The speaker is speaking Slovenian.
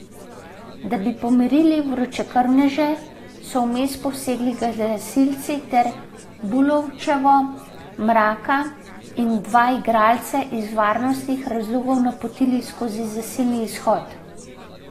Da bi pomirili vročekrvneže, so vmes posegli gasilci ter Bulovčevo, Mraka in dva igralca iz varnostnih razlogov napotili skozi zasilni izhod.